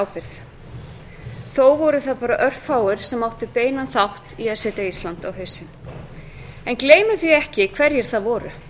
ábyrgð þó voru það bara örfáir sem áttu beinan þátt í að setja ísland á hausinn en gleymum ekki hverjir það voru